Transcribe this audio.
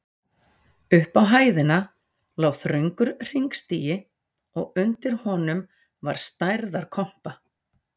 Upp á hæðina lá þröngur hringstigi og undir honum var stærðar kompa.